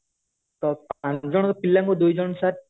ତ ପାଞ୍ଚ ଜଣ ପିଲାଙ୍କୁ ଦୁଇ ଜଣ sir